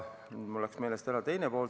Mul läks teine pool meelest ära.